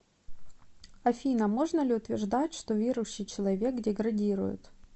афина можно ли утверждать что верующий человек деградирует